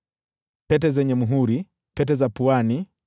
pete zenye muhuri, pete za puani,